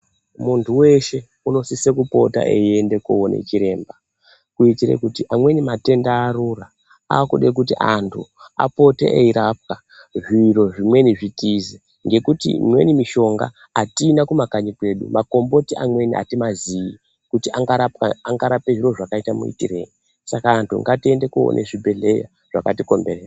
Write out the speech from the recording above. Muntu weshe unosise kupota eiende koona chiremba, kuitire kuti amweni matenda arura, aakude kuti antu apote eirapwa, zviro zvimweni zvitize, ngekuti imweni mishonga atina kumakanyi kwedu. Makomboti amweni atimaziyi kuti angarapwa angarape zviro zvakaita muitirei, saka antu ngatiende koone zvibhedhleya zvakatikomberedza.